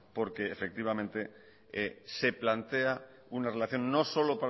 porque efectivamente se plantea una relación no solo